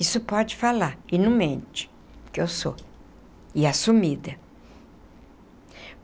Isso pode falar, e não mente, que eu sou, e assumida.